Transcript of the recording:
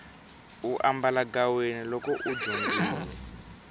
u ambalagaweni loko u dyondzile